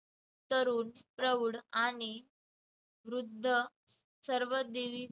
तरुण, प्रौढ आणि वृद्ध सर्व देवी